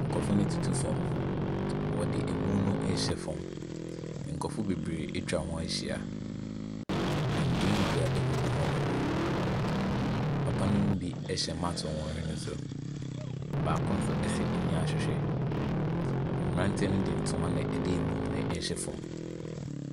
Nkorɔfoɔ no tutu fam, wɔde emu no ɛɛhyɛ fam, nkorɔfoɔ bebree atwa wɔn ho ahyia, ndua ndua agugu hɔnom, papanom bi ɛhyɛ maks wɔ wɔn hwene so, baako nso ɛhyɛ anyahwehwɛ, mmranteɛ no de ntoma ne emu no na ɛɛhyɛ fam.